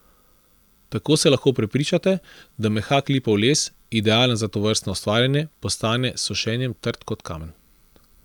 Tako se lahko prepričate, da mehak lipov les, idealen za tovrstno ustvarjanje, postane s sušenjem trd kot kamen.